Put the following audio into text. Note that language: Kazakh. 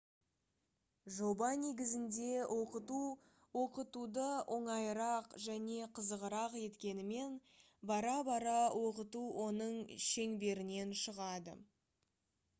жоба негізінде оқыту оқытуды оңайырақ және қызығырақ еткенімен бара-бара оқыту оның шеңберінен шығады